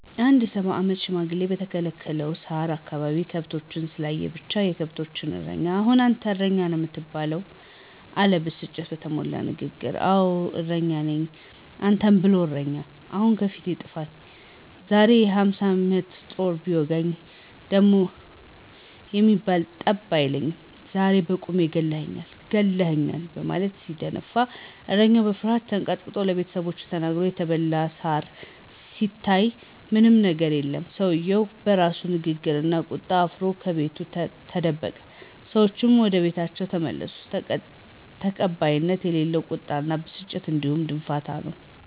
አንድ የ፸ አመት ሽማግሌ በከለከለው ሳር አካባቢ ከብቶችን ስላየ ብቻ፤ የከብቶችን እረኛ አሁን አንተ እረኛ ነው የምትባለው! አለ ብስጭት በተሞላበት ንግግር። አወ እረኛ ነኝ። አንተን ብሎ እረኛ ! አሁን ከፊቴ ጥፈኝ! ዛሬማ በ፶ ጦር ቢወጉኝ ደም የሚባል ጠብ አይለኝም! ዛሬማ ለቁሜ ገለህኛል! ገለህኛል! በማለት ሲደነፋ እረኛው በፍርሀት ተንቀጥቅጦ ለቤተሰቦቹ ተናግሮ የተበላበት ሳር ሲታይ ምንም የገር የለም። ሰውየው በራሱ ንግግርና ቁጣ አፍሮ ከቤቱ ተደበቀ። ሰዎቹም ወደቤታቸው ተመለሱ። ተቀባይነት የሌለው ቁጣና ብስጭት እንዲሁም ድንፋታ ነው።